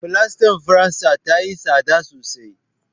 Fulastar faransa tayi tsada sosai.